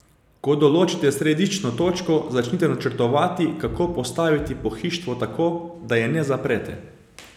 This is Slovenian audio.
Ko določite središčno točko, začnite načrtovati, kako postaviti pohištvo tako, da je ne zaprete.